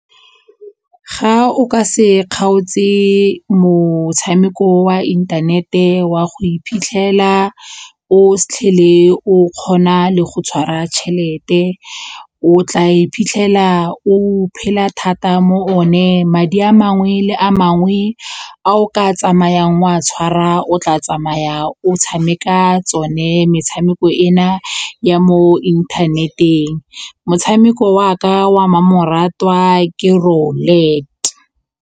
Ga o ka se kgaotse motshameko wa inthanete wa go iphitlhela o fitlhele o se tlhele o kgona le go tshwara tšhelete, o tla iphitlhela o phela thata mo one, madi a mangwe le a mangwe a o ka tsamayang o a tshwara o tla tsamaya o tshameka tsone metshameko ena ya mo internet-eng motshameko wa ka wa mmamoratwa ke .